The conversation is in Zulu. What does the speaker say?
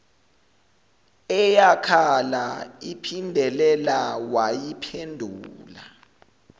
eyakhala iphindelela wayiphendula